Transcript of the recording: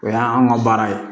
O y'an ka baara ye